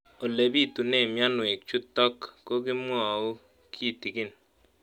Ole pitune mionwek chutok ko kimwau kitig'�n